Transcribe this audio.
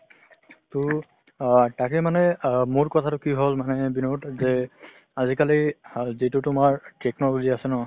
টো অ তাকে মানে ₹অ মোৰ কথাটো কি হল মানে বিনোদ যে আজিকালি যিটো তোমাৰ technology আছে ন